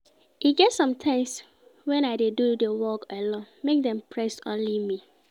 E get sometimes wen I dey do di work alone make dem praise only me.